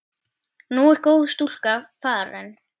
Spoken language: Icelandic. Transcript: Nú er góð stúlka farin.